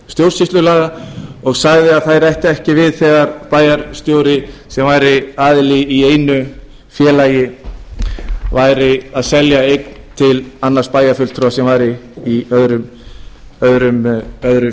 stjórnsýslulaga og sagði að þær ættu ekki við þegar bæjarstjóri sem væri aðili að einu félagi væri að selja eign til annars bæjarfulltrúa sem væri í öðru